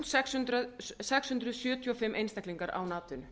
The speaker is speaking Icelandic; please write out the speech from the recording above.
sextán hundruð sjötíu og fimm einstaklingar án atvinnu